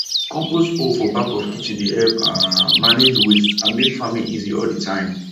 compost hole for back of kitchen dey help um manage waste and make farming easy all the time